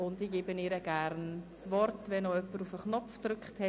Ich erteile ihr gerne das Wort, sobald jemand ihren Knopf drückt.